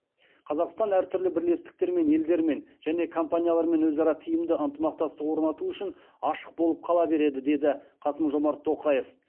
қазақстан әртүрлі бірлестіктермен елдермен және компаниялармен өзара тиімді ынтымақтастық орнату үшін ашық болып қала береді деді қасым жомарт тоқаев